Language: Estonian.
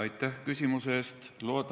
Aitäh küsimuse eest!